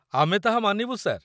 ଆମେ ତାହା ମାନିବୁ, ସାର୍